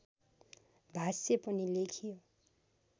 भाष्य पनि लेखियो